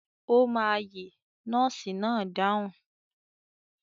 Ó máa yè nọ́ọ́sì náà dáhùn.